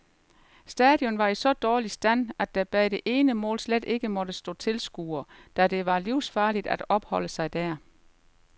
Stadion var i så dårlig stand, at der bag det ene mål slet ikke måtte stå tilskuere, da det var livsfarligt at opholde sig der.